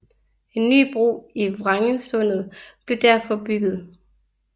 En ny bro i Vrengensundet blev derfor bygget